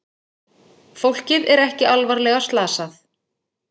Fólkið er ekki alvarlega slasað